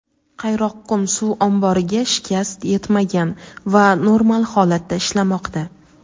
Qayroqqum suv omboriga shikast yetmagan va normal holatda ishlamoqda.